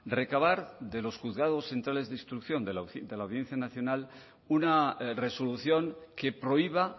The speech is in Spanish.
recabar de los juzgados centrales de instrucción de la audiencia nacional una resolución que prohíba